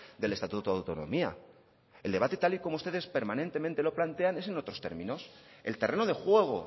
del estatuto de autonomía el debate tal y como ustedes permanentemente lo plantean es en otros términos el terreno de juego